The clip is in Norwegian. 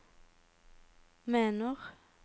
mener